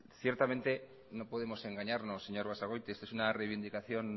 ciertamente no podemos engañarnos señor basagoiti esta es una reivindicación